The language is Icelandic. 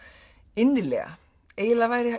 innilega eiginlega væri